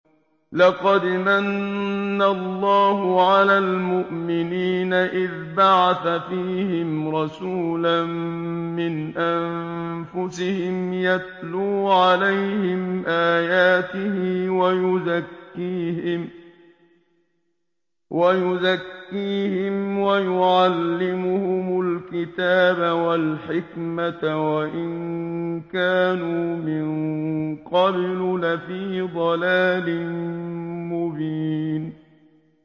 لَقَدْ مَنَّ اللَّهُ عَلَى الْمُؤْمِنِينَ إِذْ بَعَثَ فِيهِمْ رَسُولًا مِّنْ أَنفُسِهِمْ يَتْلُو عَلَيْهِمْ آيَاتِهِ وَيُزَكِّيهِمْ وَيُعَلِّمُهُمُ الْكِتَابَ وَالْحِكْمَةَ وَإِن كَانُوا مِن قَبْلُ لَفِي ضَلَالٍ مُّبِينٍ